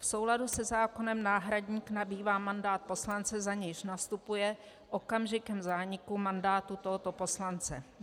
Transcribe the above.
V souladu se zákonem náhradník nabývá mandát poslance, za nějž nastupuje okamžikem zániku mandátu tohoto poslance.